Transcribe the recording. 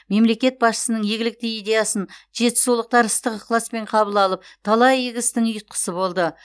мемлекет басшысының игілікті идеясын жетісулықтар ыстық ықыласпен қабыл алып талай игі істің ұйытқысы болды